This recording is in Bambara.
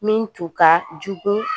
Min tun ka jugu